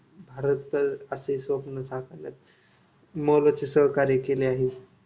भारत असे स्वप्न साकारले मोलाचे सहकार्य केले आहे.